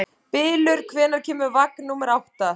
Bylur, hvenær kemur vagn númer átta?